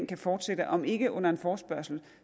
kan fortsætte om ikke under en forespørgsel